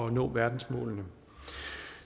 at nå verdensmålene